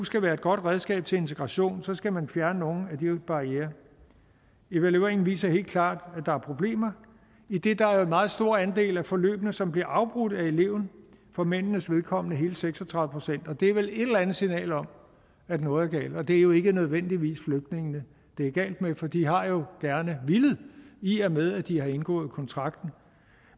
skal være et godt redskab til integration skal man fjerne nogle af de barrierer evalueringen viser helt klart at der er problemer idet der er en meget stor andel af forløbene som bliver afbrudt af eleven for mændenes vedkommende hele seks og tredive procent og det er vel et eller andet signal om at noget er galt og det er jo ikke nødvendigvis flygtningene det er galt med for de har jo gerne villet i og med at de har indgået kontrakten